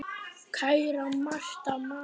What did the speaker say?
Kæra Marta María.